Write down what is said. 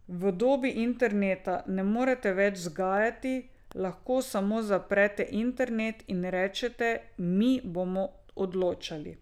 V dobi interneta ne morete več vzgajati, lahko samo zaprete internet in rečete, mi bomo odločali.